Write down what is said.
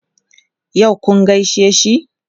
Yau kun gaishe shi?